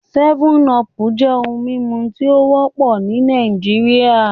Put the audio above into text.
7Up jẹ ohun mimu ti o wọpọ ni Naijiria